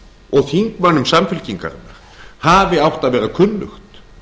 og þingmönnum samfylkingarinnar hafi átt að vera kunnugt